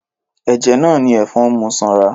Ẹ̀jẹ̀ náà ni ẹ̀fọn ń mu sanra.